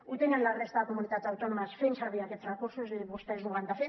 ho tenen la resta de comunitats autònomes fent servir aquests recursos i vostès ho han de fer